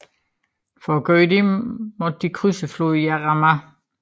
For at gøre dette måtte de krydse floden Jarama